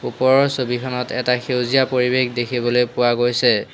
ওপৰৰ ছবিখনত এটা সেউজীয়া পৰিৱেশ দেখিবলৈ পোৱা গৈছে।